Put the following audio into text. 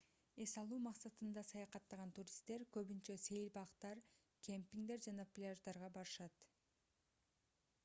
эс алуу максатында саякаттаган туристтер көбүнчө сейил бактар кемпингдер жана пляждарга барышат